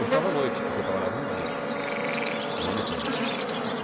Eu estava à noite, porque eu trabalhava de dia, no Anifranque.